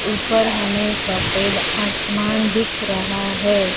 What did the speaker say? ऊपर हमें सफेद आसमान दिख रहा है।